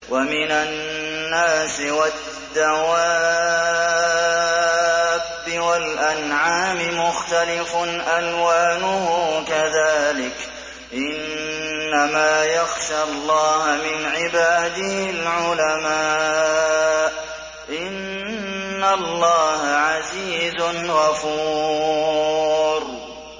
وَمِنَ النَّاسِ وَالدَّوَابِّ وَالْأَنْعَامِ مُخْتَلِفٌ أَلْوَانُهُ كَذَٰلِكَ ۗ إِنَّمَا يَخْشَى اللَّهَ مِنْ عِبَادِهِ الْعُلَمَاءُ ۗ إِنَّ اللَّهَ عَزِيزٌ غَفُورٌ